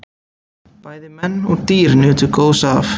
Bæði menn og dýr nutu góðs af.